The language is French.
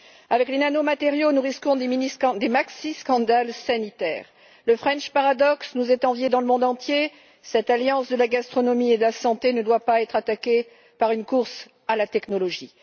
Avec les nanomatériaux, nous risquons des scandales sanitaires considérables. Le French Paradox nous est envié dans le monde entier, cette alliance de la gastronomie et de la santé ne doit pas être attaquée par une course à la technologie.